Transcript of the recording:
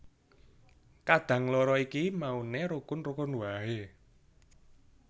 Kadang loro iki mauné rukun rukun waé